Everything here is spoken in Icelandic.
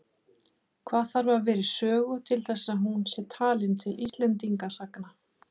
Hvað þarf að vera í sögu til þess að hún sé talin til Íslendingasagna?